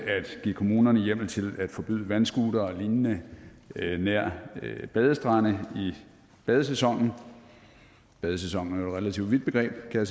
at give kommunerne hjemmel til at forbyde vandscootere og lignende nær badestrande i badesæsonen badesæsonen er relativt vidt begreb kan